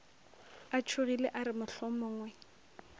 a tšhogile a re mohlomongwe